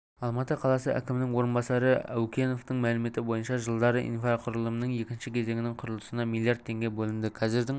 алматы қаласы әкімінің орынбасары әукеновтің мәліметі бойынша жылдары инфрақұрылымының екінші кезеңінің құрылысына миллиард теңге бөлінді қазірдің